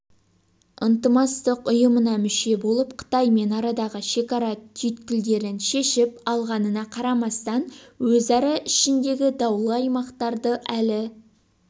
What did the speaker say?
ынтымақтастық ұйымына мүше болып қытаймен арадағы шекара түйткілдеріншешіп алғанына қарамастан өзара ішіндегі даулы аймақтарды әлі